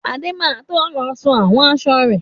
Adé má to lọ sun àwọn aṣọ rẹ̀.